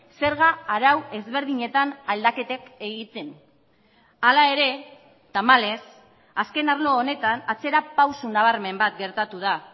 zerga arau ezberdinetan aldaketak egiten hala ere tamalez azken arlo honetan atzera pauso nabarmen bat gertatu da